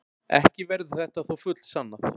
Ekki verður þetta þó fullsannað.